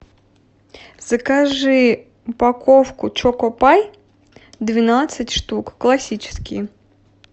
закажи упаковку чокопай двенадцать штук классические